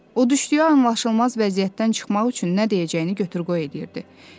O düşdüyü anlaşılmaz vəziyyətdən çıxmaq üçün nə deyəcəyini götür-qoy eləyirdi.